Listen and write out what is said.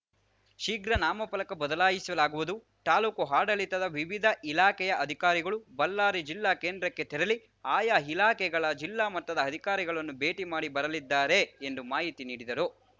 ಶೀಘ್ರ ನಾಮಫಲಕ ಬದಲಾಯಿಸಲಾಗುವುದು ತಾಲೂಕು ಆಡಳಿತದ ವಿವಿಧ ಇಲಾಖೆಯ ಅಧಿಕಾರಿಗಳು ಬಳ್ಳಾರಿ ಜಿಲ್ಲಾ ಕೇಂದ್ರಕ್ಕೆ ತೆರಳಿ ಆಯಾ ಇಲಾಖೆಗಳ ಜಿಲ್ಲಾ ಮಟ್ಟದ ಅಧಿಕಾರಿಗಳನ್ನು ಭೇಟಿ ಮಾಡಿ ಬರಲಿದ್ದಾರೆ ಎಂದು ಮಾಹಿತಿ ನೀಡಿದರು